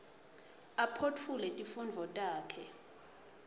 aphotfule tifundvo takhe